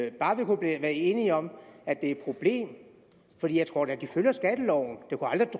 i bare vi kunne være enige om at det er et problem for jeg tror da at de følger skatteloven